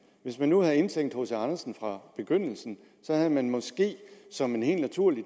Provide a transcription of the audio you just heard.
hvis man nu havde indtænkt hc andersen fra begyndelsen havde man måske som en helt naturlig